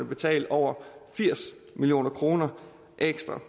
betale over firs million kroner ekstra